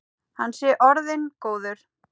Hann sé orðinn góður.